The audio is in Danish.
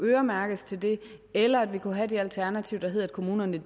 øremærkes til det eller vi kunne have det alternativ at kommunerne